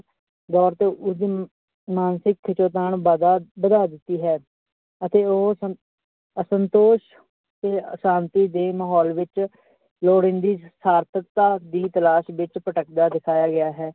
ਦੌੜ ਤੋਂ ਮਾਨਸਿਕ ਖਿਚੋਤਾਣ ਵਾਧਾ ਵਧਾ ਦਿੱਤੀ ਹੈ ਅਤੇ ਉਹ ਸੰ~ ਅਸੰਤੋਸ਼ ਤੇ ਆਸ਼ਾਂਤੀ ਦੇ ਮਾਹੌਲ ਵਿੱਚ ਲੋੜੀਦੀ ਸਾਰਥਕਤਾ ਦੀ ਤਲਾਸ਼ ਵਿੱਚ ਭਟਕਦਾ ਦਿਖਾਇਆ ਗਿਆ ਹੈ।